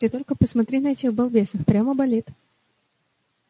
ты только посмотри на этих балбесов прямо балет